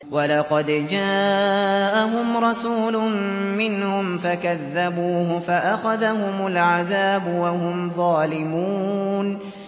وَلَقَدْ جَاءَهُمْ رَسُولٌ مِّنْهُمْ فَكَذَّبُوهُ فَأَخَذَهُمُ الْعَذَابُ وَهُمْ ظَالِمُونَ